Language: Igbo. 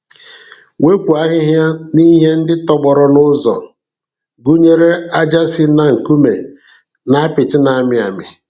Wepụ ahịhịa na ihe ndị tọgbọrọ n'ụzọ, gụnyere ája si na nkume na apịtị na-amị amị.